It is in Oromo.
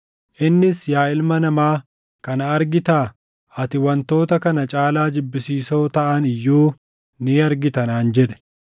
Innis, “Yaa ilma namaa, kana argitaa? Ati wantoota kana caalaa jibbisiisoo taʼani iyyuu ni argita” naan jedhe.